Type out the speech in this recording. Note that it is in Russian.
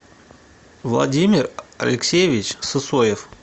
владимир алексеевич сысоев